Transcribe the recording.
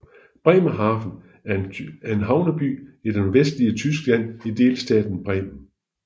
Bremerhaven er en havneby i det nordvestlige Tyskland i delstaten Bremen